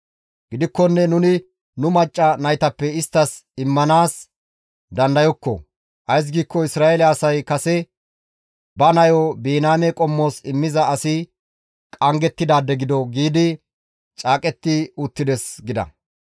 Gidikkonne nuni nu macca naytappe isttas immanaas dandayokko; ays giikko Isra7eele asay kase, ‹Ba nayo Biniyaame qommos immiza asi qanggettidaade gido› giidi caaqetti uttides» gida.